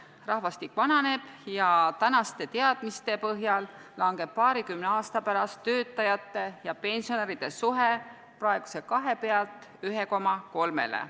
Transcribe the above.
Rahvastik vananeb ja praeguste teadmiste põhjal langeb paarikümne aasta pärast töötajate ja pensionäride suhe praeguselt 2-lt 1,3-le.